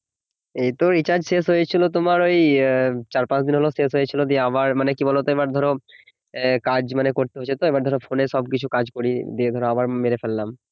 এই তো রিচার্জ শেষ হয়েছিল তোমার এই ই চার পাঁচ দিন হলো শেষ হয়েছিল দিয়ে আবার মানে কি বলতো এবার ধরো আহ কাজ মানে করতে হচ্ছে তো মানে ফোন এ সব কিছু কাজ করি দিয়ে ধরো আবার ধরো মেরে ফেললাম